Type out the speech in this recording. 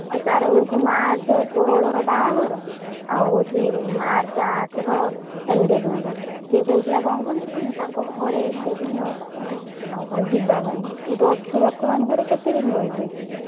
ଆଉ ତାର ହଉଛି March ଷୋହଳର ବାହାଘର ଆଉ ହଉଛି March ଆଠର engagement ସେ କହୁଥିଲା କଣ କହନି ତାଙ୍କ ଘରେ engagement ହବ ଆଉ ଯିବା ପାଇଁ ତୁ ତ ଅଛୁ ବର୍ତ୍ତମାନ ଘରେ କେତେ ଦିନ ରହିବୁ ଏଇଖିନା?